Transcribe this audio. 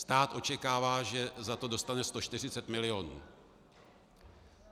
Stát očekává, že za to dostane 140 milionů.